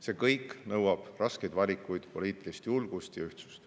See kõik nõuab raskeid valikuid, poliitilist julgust ja ühtsust.